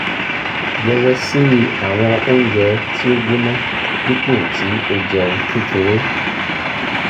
yẹwẹsi awọn ounjẹ ti o gbona dipo ti o jẹun kekere